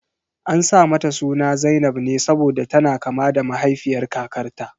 An sa mata suna zainab ne saboda tana kama da mahaifiyar kakarta.